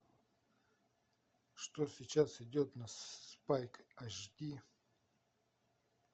что сейчас идет на спайк ашди